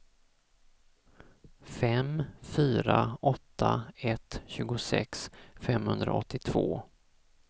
fem fyra åtta ett tjugosex femhundraåttiotvå